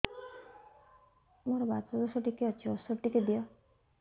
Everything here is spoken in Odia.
ମୋର୍ ବାତ ଦୋଷ ଟିକେ ଅଛି ଔଷଧ ଟିକେ ଦିଅ